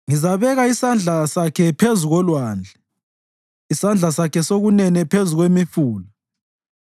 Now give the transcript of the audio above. Ngizabeka isandla sakhe phezu kolwandle, isandla sakhe sokunene phezu kwemifula.